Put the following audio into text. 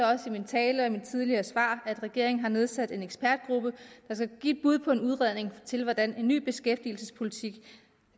også i min tale og i mine tidligere svar at regeringen har nedsat en ekspertgruppe der skal give et bud på en udredning af hvordan en ny beskæftigelsespolitik